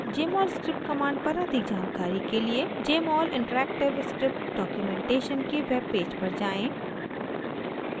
jmol script command पर अधिक जानकारी के लिए jmol interactive script documentation के web पेज पर जाएँ